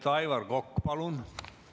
Aivar Kokk, palun!